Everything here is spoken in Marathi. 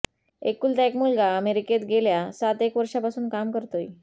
एकुलता एक मुलगा अमेरिकेत गेल्या सातएक वर्षांपासून काम करतोय